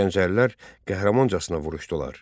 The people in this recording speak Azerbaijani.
Gəncəlilər qəhrəmancasına vuruşdular.